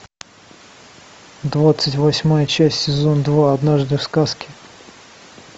двадцать восьмая часть сезон два однажды в сказке